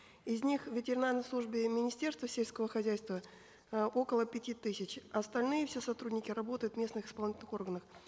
из них в ветеринарной службе министерства сельского хозяйства э около пяти тысяч остальные все сотрудники работают в местных исполнительных органах